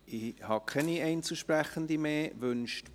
Ich habe keine weiteren Einzelsprechenden auf der Liste.